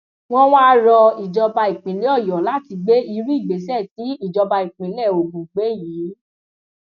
wọn wáá rọ ìjọba ìpínlẹ ọyọ láti gbé irú ìgbésẹ tí ìjọba ìpínlẹ ogun gbé yìí